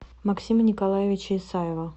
максима николаевича исаева